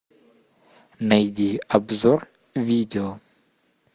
найди обзор видео